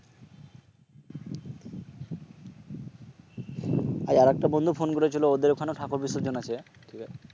আজ আর একটা বন্ধু ফোন করেছিল ওদের ওখানে আজ ঠাকুর বিসর্জন আজকে